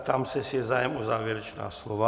Ptám se, jestli je zájem o závěrečná slova.